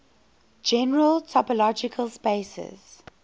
general topological spaces